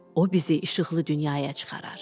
o bizi işıqlı dünyaya çıxarar.